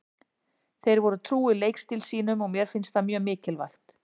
Þeir voru trúir leikstíl sínum og mér finnst það mjög mikilvægt.